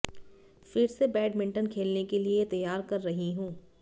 फिर से बैडमिंटन खेलने के लिए तैयार कर रही हूं